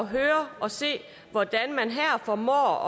høre og se hvordan man her formår